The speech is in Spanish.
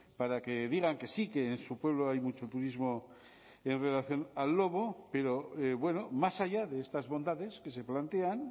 para que digan que sí que en su pueblo hay mucho turismo en relación al lobo pero bueno más allá de estas bondades que se plantean